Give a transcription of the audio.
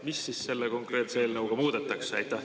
Mis siis selle konkreetse eelnõuga muudetakse?